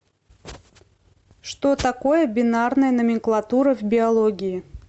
что такое бинарная номенклатура в биологии